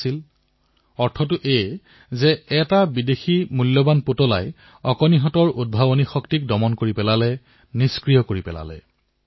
এই খেলাসামগ্ৰীটোৱে ধনসম্পত্তিৰ উচ্চাত্মিকা প্ৰদৰ্শন কৰিলে কিন্তু সেই শিশুটিৰ সৃজনীসূলভ মানসিকতাৰ সংবেদন যেন ঢাকি পেলালে